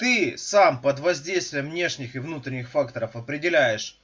ты сам под воздействием внешних и внутренних факторов определяешь